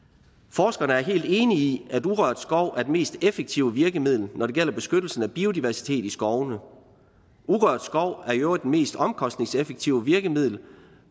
forskerne er helt enige i at urørt skov er det mest effektive virkemiddel når det gælder beskyttelse af biodiversitet i skovene urørt skov er i øvrigt det mest omkostningseffektive virkemiddel